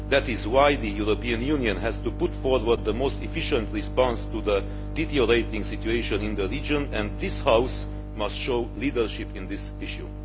That is why the European Union has to put forward the most efficient response to the deteriorating situation in the region and this House must show leadership on this issue.